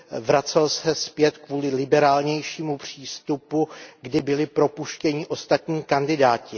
Vracel se zpět kvůli liberálnějšímu přístupu, kdy byli propuštěni ostatní kandidáti.